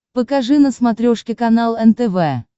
покажи на смотрешке канал нтв